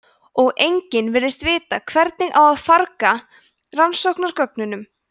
og enginn virðist vita hvernig á að farga rannsóknargögnunum